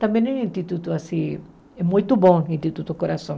Também é um instituto, assim, é muito bom o Instituto Coração.